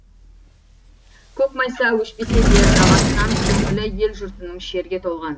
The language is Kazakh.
көк майса өшпесе де жағасынан көңілі ел жұртының шерге толған